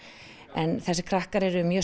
en þessir krakkar eru mjög